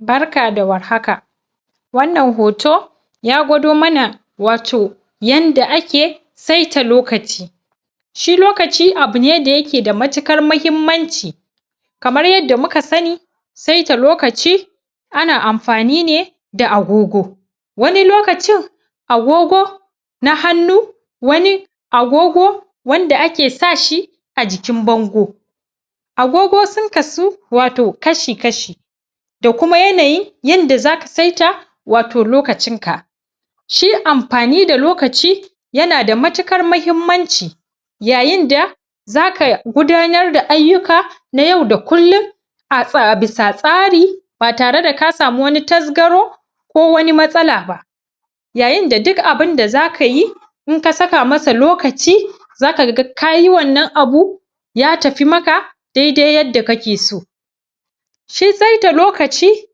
Barka da warhaka wannan hoto ya gwado mana wato yanda ake saita lokaci shi lokaci abu ne da yake da matuƙar mahimmanci kamar yadda muka sani saita lokaci ana amfani ne da agogo wani lokacin agogo na hannu wani agogo wanda ake sa sh ajikin bango. Agogo sun kasu wato kashi-kashi Da kuma yanayin yanda za ka saita lokacin ka. Shi amfani da lokaci yana da matuƙar muhimmanci yayin da za ka gudanar da ayyuka na yau da kullum a bisa tsari ba tare da ka samu wani tasgaro ko wani matsala ba. yayin da duk abin da za ka yi ba in ka saka masa lokaci za ka ga ka yi wannan abun ya tafi maka daidai yadda kake so. shi saita lokaci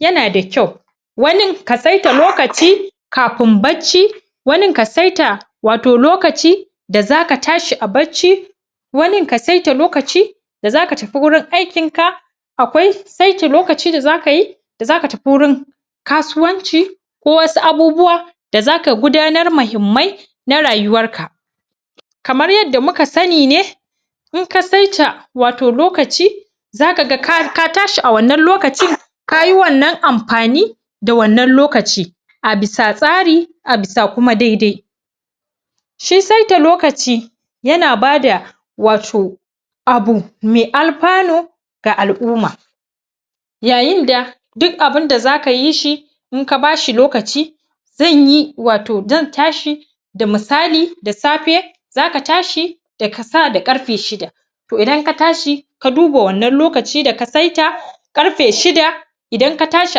yana da kyau wani ka saita lokaci kafin bacci, wanin ka saita wato lokacin da za ka ta shi a bacci wanin ka saita lokaci da za ka tafi wajen aikinka akwai saita lokacin da za ka yi za ka tafi wurin kasuwanci ko wasu abubuwa da zaka gudanar muhimmai na rayuwarka. kamar yadda muka sani ne, in ka saita wato lokaci za ka ga ka tashi a wannan lokacin ka yi wannan amfani da wannan lokacin a bisa tsari a bisa kuma dai-dai shi saita lokaci yana ba da wato abu mai alfanu ga al'umma yayinda duk abin da za ka yi shi in ka ba shi lokaci zan yi wato zan tashi da misali da safe za ka ta shi da kasa da ƙarfe shida. To idan ka tashi ka duba wannan lokaci da ka saita ƙarfe shida, idan ka tashi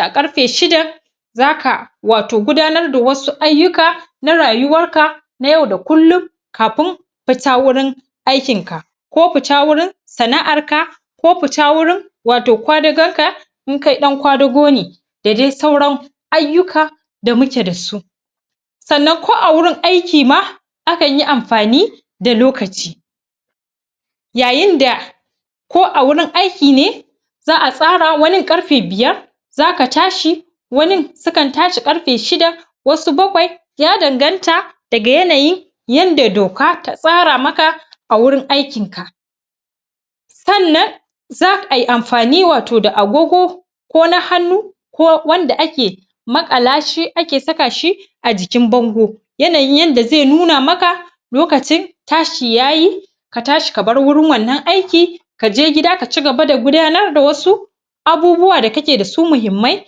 a ƙarfe shidan, za ka wato gudanar da wasu ayyukaa na rayuwarka na yau da kullum kafin fita wurin aikinka ko fita wurin sana'arka ko fita wurin wato kwadagonka in kai ɗan kwadago ne. da dai sauran ayyuka da muke da su. Sannan ko a wurin aiki ma akan yi amfani da lokaci. Yayin da ko a wurin aiki ne za a tsara wurin ƙarfe biyar za ka ta shi wanin sukan tashi ƙarfe shida wasu bakwai ya danganta daga yanayin yanda doka ta tsara maka a wurin aikinka. Sannan za ai amfani da wato agogo ko na hannu ko wanda ake maƙala shi ake saka shi a jikin bango Yanayin yanda zai nuna maka lokacin tashi ya yi ka tashi ka bar wurin wannan aikin ka je gida ka ci gaba da gudanar da wasu Abubuwa da kake da su muhimmai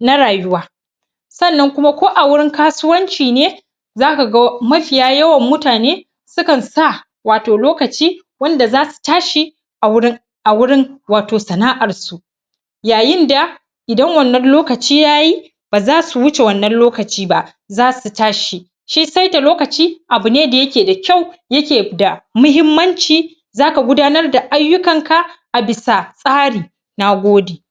na rayuwa sannan kuma ko a wurin kasuwanci ne za ka ga mafiya yawan mutane sukan sa wato lokaci wanda za su ta shi a wurin a wurin wato sana'ar su. ya yin da idan wannan lokaci ya yi ba za su wuce wannan lokaci ba za su tashi shi sairta lokaci abu ne wanda yake da kyau yake da muhimmanci za ka gudanar da ayyukanka a bisa tsari, na gode.